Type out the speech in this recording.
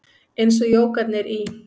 Eins og jógarnir í